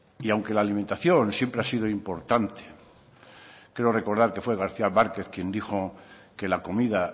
y aunque la alimentación siempre ha sido importante creo recordar que fue garcía márquez quien dijo que la comida